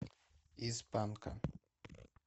из панка